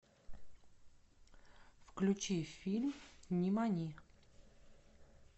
включи фильм нимани